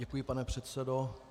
Děkuji, pane předsedo.